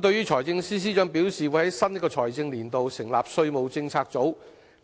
對於財政司司長表示會在新一個財政年度成立稅務政策組，